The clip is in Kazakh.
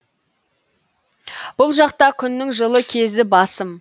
бұл жақта күннің жылы кезі басым